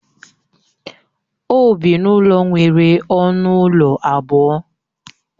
O bi n'ụlọ nwere ọnụ ụlọ abụọ